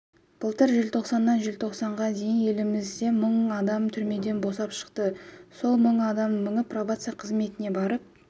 былтыр желтоқсаннан желтоқсанға дейін елімізде мың адам түрмеден босап шықты сол мыңның мыңы пробация қызметіне барып